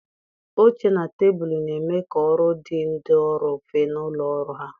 Oche na tebụlụ na-eme ka ọrụ dị ndị ọrụ mfe na ụlọ ọrụ ha